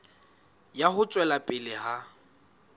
ya ho tswela pele ha